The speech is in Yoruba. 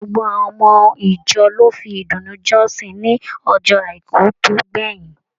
Gbogbo àwọn ọmọ ìjọ lò fi ìdùnnú jọsin ní ọjọ àìkú to gbẹyin.